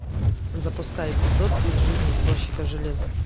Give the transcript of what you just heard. запускай эпизод из жизни сборщика железа